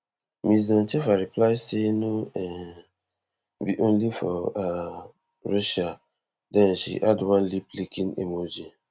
ms doncheva reply say no um be only for um russia den she add one liplicking emoji